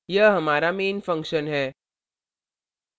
यह हमारा main function है